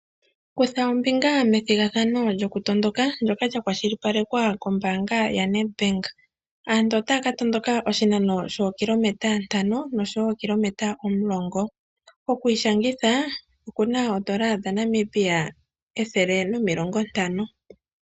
Kutha ombinga methigathano lyoku tondoka ndoka lya kwashilipalekwa kombaanga yaNEDBANK. Aantu otaya ka tondoka oshinano shokiilometa ntano noshowo ookilometa omulongo, oku ishangitha oku na oondola dhaNamibia ethele nomilongo ntano.